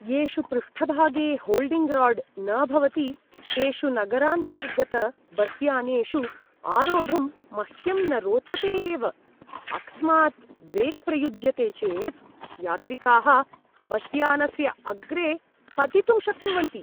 येषु पृष्ठभागे holding rod न भवति तेषु नगरान्तर्गतबस्यानेषु आरोढुं मह्यं न रोचते एव, अकस्मात् ब्रेक् प्रयुज्यते चेत् यात्रिकाः बस्यानस्य अग्रे पतितुं शक्नुवन्ति।